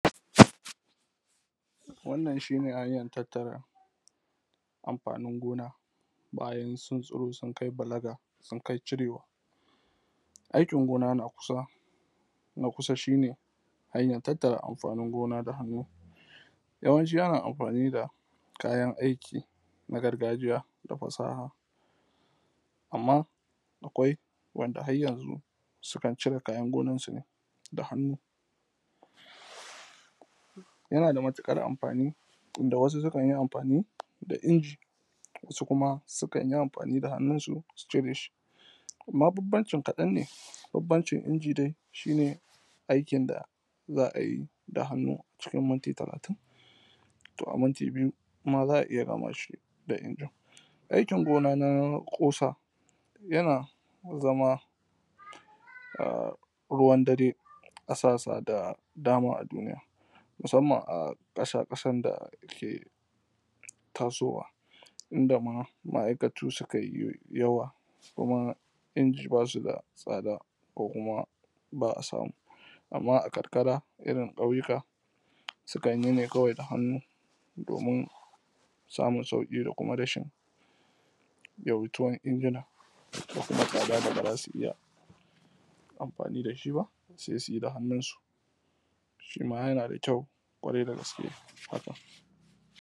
wannan shi ne hanyar tattare amfanin gona bayan sun tsuro sun kai balaga sun kai cirewa aikin gona na kusa shi ne hanyar tattare amfanin gona da hannu yawancin ana amfani da kayan aiki na gargajiya da fasaha amman akwai wanda har yanzu sukan cire kayan gonan su ne da hannu yana da matuƙar amfani inda wasu sukan yi amfani da inji wasu kuma sukan yi amfani da hannun su su cire shi amman banbancin kaɗan ne banbancin inji dai shi ne aikin da za a yi da hannu cikin minti talatin to a minti biyu ma za a iya gama shi da injin aikin gona na kusa yana zama ruwan dare a sassa da dama a duniya musamman a ƙasa ƙasan da ake tasowa inda ma’aikatu sukayi yawa kuma inji basu da tsada ko kuma ba a samu amman a karkara irin ƙauyuka sukan yi ne kawai da hannu domin samun sauƙi dan kuma rashin yawaituwar injina ko kuma tsada da ba zasu iya amfani da shi ba sai suyi da hannun su shima yana da kyau ƙwarai da gaske